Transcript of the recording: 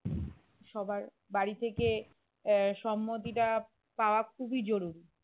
সবার বাড়ি থেকে আহ সম্মতিটা পাওয়া খুবই জরুরী